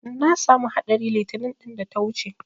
Na samu haɗari 'itinin ɗin da ta wuce.